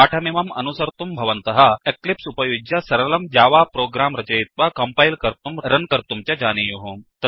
पाठमिमम् अस्नुसर्तुं भवन्तः एक्लिप्स् उपयुज्य सरलं जावा प्रोग्राम् रचयित्वा कम्पैल् कर्तुं रन् कर्तुं च जानीयुः